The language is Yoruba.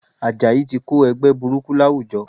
Àjàyí ti Kó ẹgbẹ́ burúkú láwùjọ